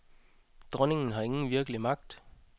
Dronningen har ingen virkelig magt.